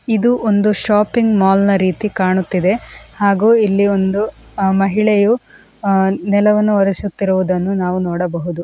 ಇದು ಒಂದು ಶಾಪಿಂಗ್ ಮಾಲ್ನ ರೀತಿ ಕಾಣುತ್ತಿದೆ ಹಾಗೂ ಈ ಒಬ್ಬಳ ಮಹಿಳೆಯು ನೆಲವನ್ನು ಒರಿಸುತ್ತಿರುವುದನ್ನು ನಾವು ನೋಡಬಹುದು.